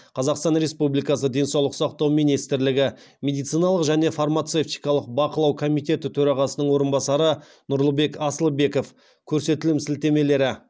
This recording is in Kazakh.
қазақстан республикасы денсаулық сақтау министрлігі медициналық және фармацевтикалық бақылау комитеті төрағасының орынбасары нұрлыбек асылбеков